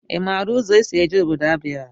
I maara ụzọ esị eje ọbọdọ Abịa?